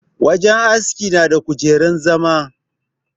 Wajen aski na da kujerun zama.